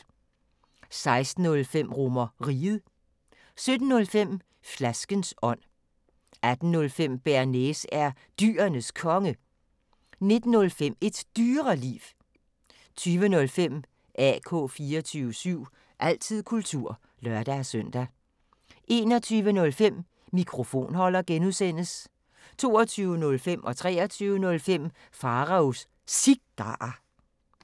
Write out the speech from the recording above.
16:05: RomerRiget 17:05: Flaskens ånd 18:05: Bearnaise er Dyrenes Konge 19:05: Et Dyreliv 20:05: AK 24syv – altid kultur (lør-søn) 21:05: Mikrofonholder (G) 22:05: Pharaos Cigarer 23:05: Pharaos Cigarer